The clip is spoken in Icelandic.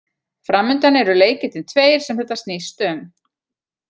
Framundan eru leikirnir tveir sem þetta snýst um.